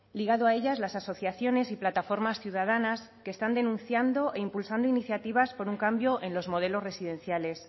ligado a ellas las asociaciones y plataformas ciudadanas que están denunciando e impulsando iniciativas por un cambio en los modelos residenciales